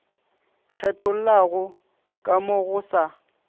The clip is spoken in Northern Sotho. kgethollago ka mo go sa